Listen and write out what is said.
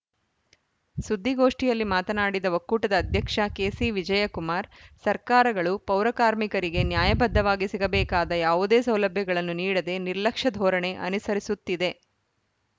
ಸುದ್ದಿಗೋಷ್ಠಿಯಲ್ಲಿ ಮಾತನಾಡಿದ ಒಕ್ಕೂಟದ ಅಧ್ಯಕ್ಷ ಕೆಸಿವಿಜಯಕುಮಾರ್‌ ಸರ್ಕಾರಗಳು ಪೌರಕಾರ್ಮಿಕರಿಗೆ ನ್ಯಾಯಬದ್ಧವಾಗಿ ಸಿಗಬೇಕಾದ ಯಾವುದೇ ಸೌಲಭ್ಯಗಳನ್ನು ನೀಡದೆ ನಿರ್ಲಕ್ಷ್ಯ ಧೋರಣೆ ಅನಿಸರಿಸುತ್ತಿದೆ